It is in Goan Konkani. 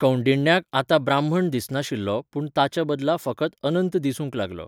कौंडिण्याक आतां ब्राह्मण दिसनाशिल्लो पूण ताच्याबदला फकत अनंत दिसूंक लागलो.